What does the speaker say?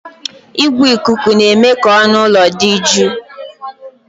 Igwe ikuku na-eme ka ọnụ ụlọ dị jụụ